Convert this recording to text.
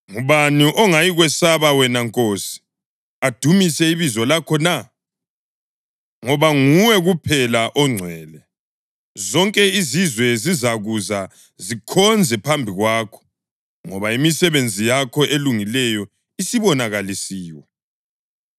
Ngubani ongayikukwesaba wena Nkosi, adumise ibizo lakho na? Ngoba nguwe kuphela ongcwele. Zonke izizwe zizakuza zikhonze phambi kwakho, ngoba imisebenzi yakho elungileyo isibonakalisiwe.”